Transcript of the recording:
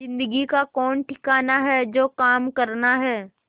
जिंदगी का कौन ठिकाना है जो काम करना है